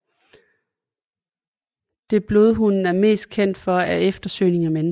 Det blodhunden er mest kendt for er eftersøgning af mennesker